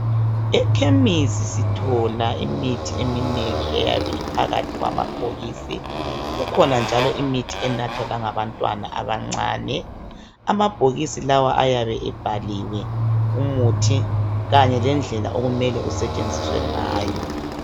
Ekhemisi sithola imithi eminengi eyabe iphakathi kwamabhokisi .Kukhona njalo imithi enathwa langabantwana abancane .Amabhokisi lawa ayabe ebhaliwe umuthi kanye lendlela okumele usetshenziswe ngayo